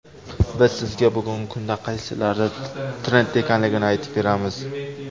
Biz sizga bugungi kunda qaysilari trendda ekanligini aytib beramiz.